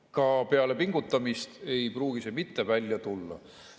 Ka peale pingutamist ei pruugi see mitte välja tulla.